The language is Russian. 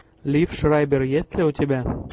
лив шрайбер есть ли у тебя